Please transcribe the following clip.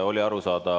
Oli arusaadav.